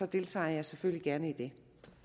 deltager jeg selvfølgelig gerne i det